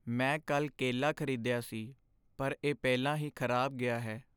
ਮੈਂ ਕੱਲ੍ਹ ਕੇਲਾ ਖ਼ਰੀਦਿਆ ਸੀ ਪਰ ਇਹ ਪਹਿਲਾਂ ਹੀ ਖ਼ਰਾਬ ਗਿਆ ਹੈ।